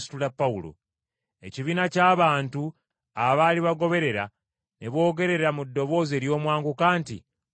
Ekibiina ky’abantu abaali bagoberera ne boogera mu ddoboozi ery’omwanguka nti, “Mumutte!”